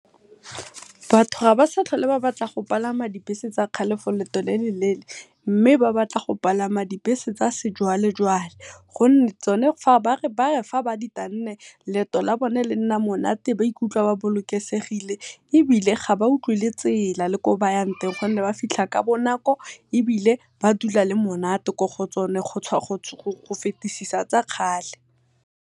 Batho ga ba sa tlhole ba batla go palama di bese tsa kgale for leeto le le leele, mme ba batla go palama di bese tsa sejwalejwale. Gonne bare fa ba di tanne leeto la bone lenna monate ba ikutlwa ba bolokesegile ebile ga ba utlwe le tsela le ko ba yang teng, gonne ba fitlha ka bonako ebile ba dula le monate mo go tsona go fetisisa tsa kgale.